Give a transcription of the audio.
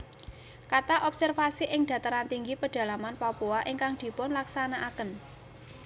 Kathah observasi ing dataran tinggi pedalaman Papua ingkang dipunlaksanakaken